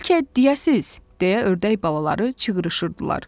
Bəlkə deyəsiz, deyə ördək balaları çığrışırdılar.